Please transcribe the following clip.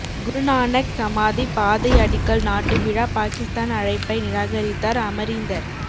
குருநானக் சமாதி பாதை அடிக்கல் நாட்டு விழா பாகிஸ்தான் அழைப்பை நிராகரித்தார் அமரீந்தர்